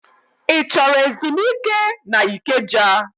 Ị chọrọ ezumike n'Ikeja?